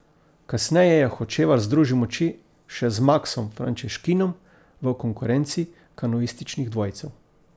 Kasneje je Hočevar združil moči še z Maksom Frančeškinom v konkurenci kanuističnih dvojcev.